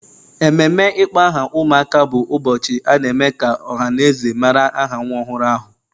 Ememe ịkpọ aha ụmụaka bụ ụbọchị a na-eme ka ọha na eze mara aha nwa ọhụrụ ahụ